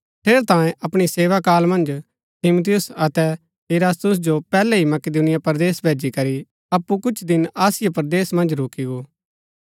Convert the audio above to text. ठेरैतांये अपणी सेवाकाल मन्ज तीमुथियुस अतै इरास्तुस जो पैहलै ही मकिदुनिया परदेस भैजी करी अप्पु कुछ दिन आसिया परदेस मन्ज रूकी गो